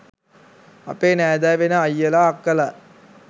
අපේ නෑදෑ වෙන අයියල අක්කලා